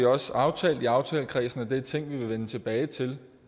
også aftalt i aftalekredsen at det er ting vi vil vende tilbage til